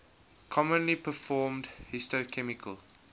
commonly performed histochemical